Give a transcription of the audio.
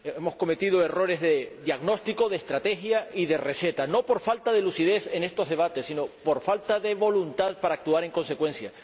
Hemos cometido errores de diagnóstico, de estrategia y de receta, no por falta de lucidez en estos debates, sino por falta de voluntad para actuar en consecuencia.